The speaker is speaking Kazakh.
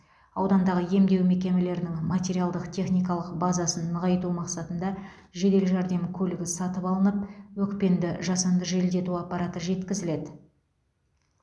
аудандағы емдеу мекемелерінің материалдық техникалық базасын нығайту мақсатында жедел жәрдем көлігі сатып алынып өкпені жасанды желдету аппараты жеткізіледі